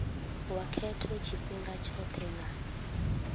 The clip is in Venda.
wa khetho tshifhinga tshothe nga